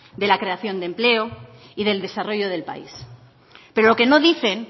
de la creación de empleo y del desarrollo del país pero lo que no dicen